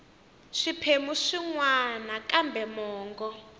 swiphemu swin wana kambe mongo